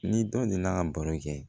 Ni dɔ nana ka baro kɛ